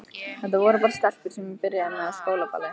Þetta voru bara stelpur sem ég byrjaði með á skólaballi.